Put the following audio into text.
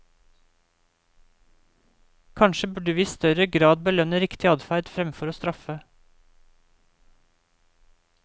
Kanskje burde vi i større grad belønne riktig adferd fremfor å straffe.